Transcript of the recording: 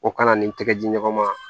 O kana ni tɛgɛ di ɲɔgɔn ma